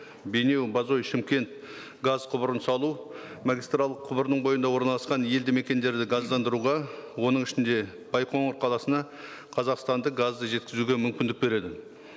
бейнеу бозой шымкент газ құбырын салу магистралдық құбырының бойында орналасқан елді мекендерді газдандыруға оның ішінде байқоңыр қаласына қазақстандық газды жеткізуге мүмкіндік береді